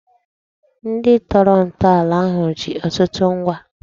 Ndị tọrọ ntọala ahụ ji ọtụtụ ngwa